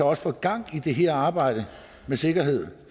også får gang i det her arbejde med sikkerhed